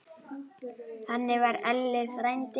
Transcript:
Þannig var Elli frændi.